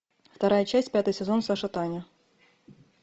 вторая часть пятый сезон саша таня